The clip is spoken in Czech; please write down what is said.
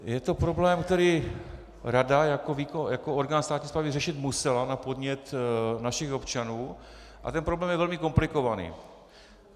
Je to problém, který rada jako orgán státní správy řešit musela na podnět našich občanů, a ten problém je velmi komplikovaný.